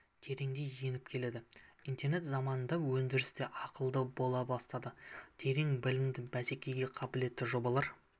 тереңдей еніп келеді интернет заманында өндіріс те ақылды бола бастады терең білімді бәсекеге қабілетті жобалары